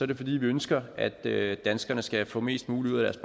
det fordi vi ønsker at at danskerne skal få mest muligt ud af